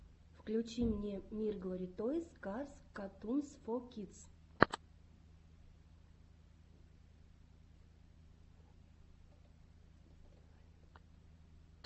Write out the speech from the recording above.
включи мне мирглори тойс карс катунс фо кидс